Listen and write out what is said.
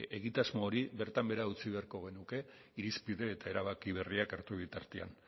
egitasmo hori bertan behera utzi beharko genuke irizpide eta erabaki berriak hartu bitartean